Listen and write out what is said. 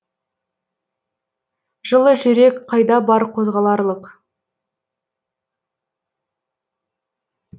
жылы жүрек қайда бар қозғаларлық